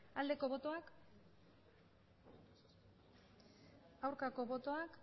aldeko botoak aurkako botoak